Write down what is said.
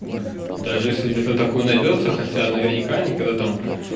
даже если где-то такой найдётся хотя наверняка никогда там